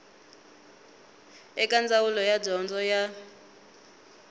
eka ndzawulo ya dyondzo ya